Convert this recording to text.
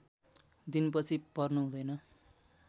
दिन पछि पर्नु हुँदैन